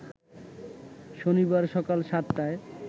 শনিবার সকাল সাতটায়